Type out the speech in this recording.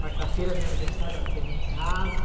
Quarta-feira do meu aniversário ela esteve em casa.